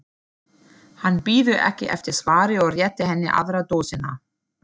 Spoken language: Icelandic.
Tónlistin var frábær og við skemmtum okkur vel.